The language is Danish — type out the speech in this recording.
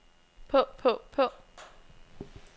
på på på